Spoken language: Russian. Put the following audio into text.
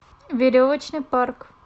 веревочный парк